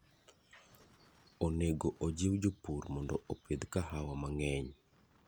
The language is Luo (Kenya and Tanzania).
Onego ojiw jopur mondo opidh kahawa mang'eny